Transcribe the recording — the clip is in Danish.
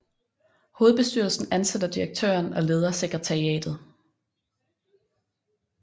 Hovedbestyrelsen ansætter direktøren og leder sekretariatet